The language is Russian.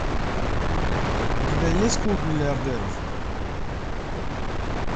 у тебя есть клуб миллиардеров